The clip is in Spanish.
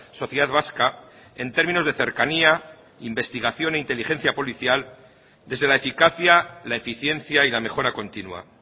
sociedad vasca en términos de cercanía investigación e inteligencia policial desde la eficacia la eficiencia y la mejora continua